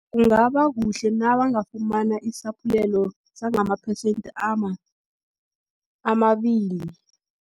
Kungaba kuhle, nabangafumana isaphulelo, sangamaphesente amabili.